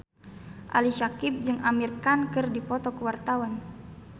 Ali Syakieb jeung Amir Khan keur dipoto ku wartawan